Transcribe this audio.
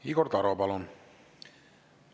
Igor Taro, palun!